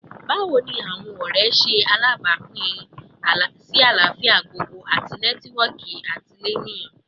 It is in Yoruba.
Bawo ni awọn ọrẹ ṣe ṣe alabapin si alafia gbogbogbo ati nẹtiwọọki atilẹyin?